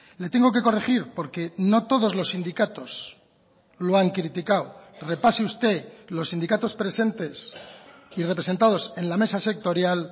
le tengo que corregir porque no todos los sindicatos lo han criticado repase usted los sindicatos presentes y representados en la mesa sectorial